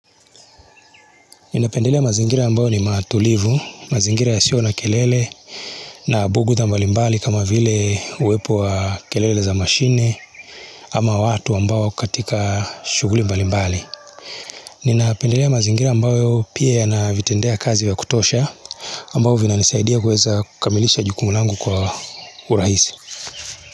Ninapendelea mazingira ambayo ni matulivu, mazingira ya siyo na kelele na bugudha mbali mbali kama vile uwepo wa kelele za mashine ama watu ambao wako katika shughuli mbali mbali. Ninapendelea mazingira ambayo pia yana vitendea kazi vya kutosha ambavyo vinanisaidia kuweza kukamilisha jukumu langu kwa urahisi.